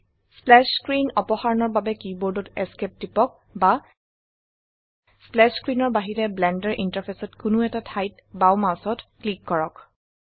splash screen অপসাৰণৰ বাবে কীবোৰ্ডত ESC টিপক বা স্প্ল্যাশ স্ক্ৰীনৰ বাহিৰে ব্লেন্ডাৰ ইন্টাৰফেসত কোনো এটা ঠাইত বাও মাউসত ক্লিক কৰক